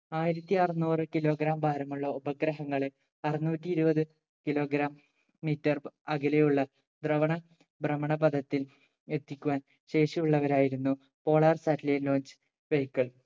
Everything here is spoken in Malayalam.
ആയിരത്തി അറുനൂറു kilogram ഭാരമുള്ള ഉപഗ്രഹങ്ങളെ അറുന്നൂറ്റി ഇരുപത് kilogram meter അകലെയുള്ള ഭ്രമണ ഭ്രമണ പദത്തിൽ എത്തിക്കുവാൻ ശേഷിയുള്ളവരായിരുന്നു polar satellite launch vehicle